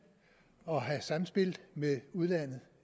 og have samspil med udlandet